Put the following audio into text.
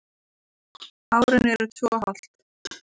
Árin eru tvö og hálft.